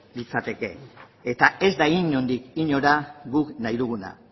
litzateke eta ez da inondik inora guk nahi duguna